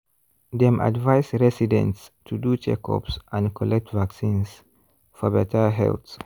dem advise residents to do checkups and collect vaccines for better health.